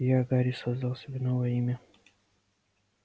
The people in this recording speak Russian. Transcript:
и я гарри создал себе новое имя